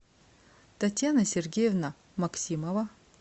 татьяна сергеевна максимова